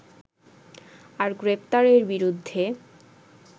আর গ্রেপ্তারের বিরুদ্ধে